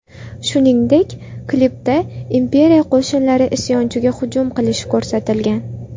Shuningdek, klipda Imperiya qo‘shinlari isyonchiga hujum qilishi ko‘rsatilgan.